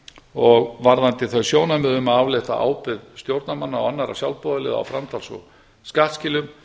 og varðandi þau sjónarmið um að aflétta ábyrgð stjórnarmanna og annarra sjálfboðaliða á framtals og skattskilum